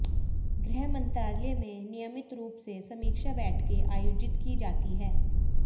गृह मंत्रालय में नियमित रूप से समीक्षा बैठकें आयोजित की जाती हैं